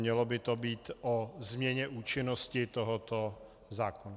Mělo by to být o změně účinnosti tohoto zákona.